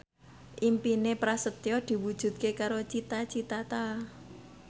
impine Prasetyo diwujudke karo Cita Citata